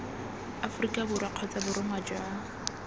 aforika borwa kgotsa borongwa jwa